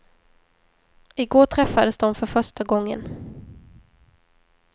I går träffades de för första gången.